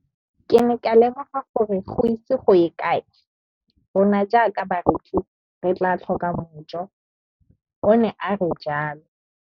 Ke ne ka lemoga gore go ise go ye kae rona jaaka barekise re tla tlhoka mojo, o ne a re jalo.